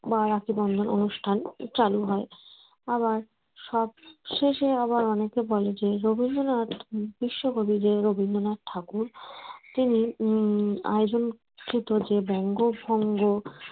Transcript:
বা রাখি বন্ধন অনুষ্ঠান চালু হয় আবার সবশেষে আবার অনেকে বলেন যে রবীন্দ্রনাথ বিশ্বকবি যে রবীন্দ্রনাথ ঠাকুর তিনি উম আয়োজন বঙ্গভঙ্গ